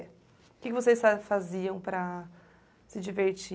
Que que vocês fa faziam para se divertir?